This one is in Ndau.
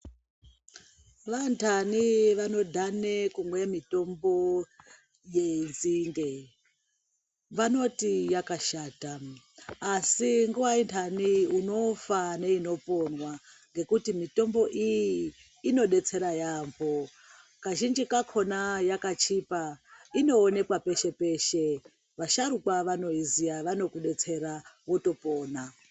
Vanhanhi vanodhane kumwe mitombo yenzinde vanoti yakashata asi nguwa inhani unofa neinoponwa ngekuti mitombo iyi inodetsera yamho kazhinji kakona yakachipa inoonekwa peshe-peshe vasharukwa vanoiziya vanokudetsera wotopona.